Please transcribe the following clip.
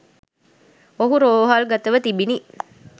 ඔහු රෝහල්ගතව තිබිණ